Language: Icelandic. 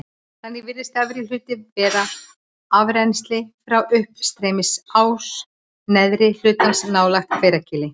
Þannig virðist efri hlutinn vera afrennsli frá uppstreymisrás neðri hlutans nálægt Hveragili.